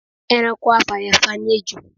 Ẹranko afàyàfà ni ejò